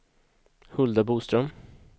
Hulda Boström